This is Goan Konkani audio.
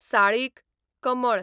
साळीक, कमळ